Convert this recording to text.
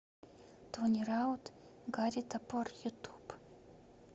тони раут гарри топор ютуб